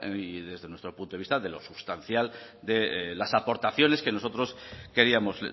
y desde nuestro punto de vista de lo sustancial de las aportaciones que nosotros queríamos